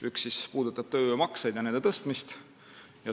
Üks puudutab tööjõumakse ja nende tõstmist.